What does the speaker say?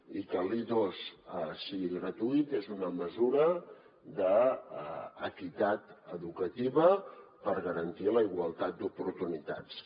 i que l’i2 sigui gratuït és una mesura d’equitat educativa per garantir la igualtat d’oportunitats